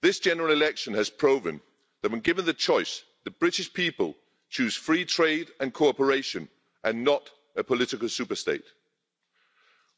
This general election has proven that, when given the choice, the British people choose free trade and cooperation and not a political super state.